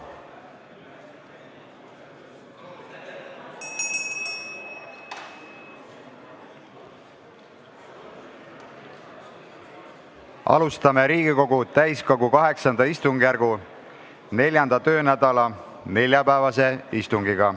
Alustame Riigikogu täiskogu VIII istungjärgu 4. töönädala neljapäevast istungit.